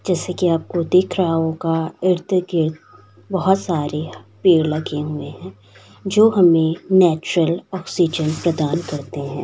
जैसा की आपको दिख रहा होगा इर्त-गीर्त बोहोत सारे पेड़ लगे हुए जो हमे नेचरल ऑक्सीजन प्रदान करते है।